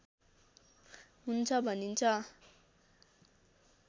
हुन्छ भनिन्छ